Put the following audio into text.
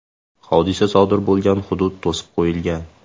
Hodisa sodir bo‘lgan hudud to‘sib qo‘yilgan.